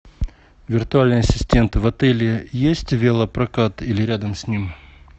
виртуальный ассистент в отеле есть велопрокат или рядом с ним